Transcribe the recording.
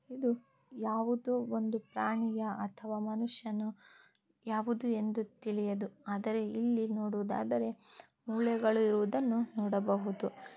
ಇದು ಒಂದು ಪ್ರಾಣಿಯ ಅಥವಾ ಮನುಷ್ಯನ ಯಾವುದು ಎಂದು ತಿಳಿಯದು ಆದರೆ ಇಲ್ಲಿ ನೊಡುವುದಾದರೆ ಮುಳೆಗಳನ್ನು ಇರುವುದನ್ನು ನೊಡಬಹುದು .